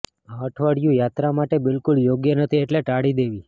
આ અઠવાડિયું યાત્રા માટે બિલકુલ યોગ્ય નથી એટલે ટાળી દેવી